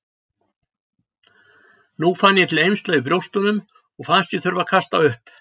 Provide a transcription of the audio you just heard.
Nú fann ég til eymsla í brjóstunum og fannst ég þurfa að kasta upp.